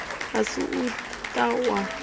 a si u ta wa